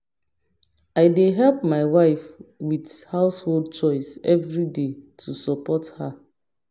i dey help my wife with household chores everyday to support her